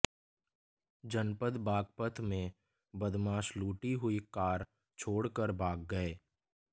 जनपद बागपत में बदमाश लूटी हुई कार छोड़कर भाग गये